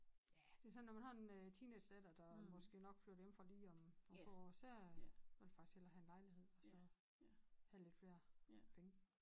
Ja det er sådan når man har en øh teenagedatter der måske nok flytter hjemmefra lige om om få år så vil jeg faktisk hellere have en lejlighed og så have lidt flere penge